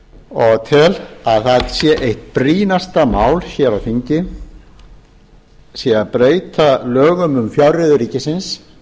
og tel að eitt brýnasta mál hér á þingi sé að breyta lögum um fjárreiður ríkisins